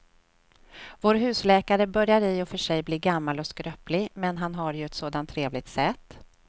Vår husläkare börjar i och för sig bli gammal och skröplig, men han har ju ett sådant trevligt sätt!